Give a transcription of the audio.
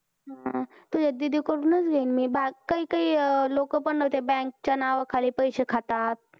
हा. तुझ्या दीदीकडूनच घेईन मी. बाकी काही काही लोक पण ते bank च्या नावाखाली पैसे खातात.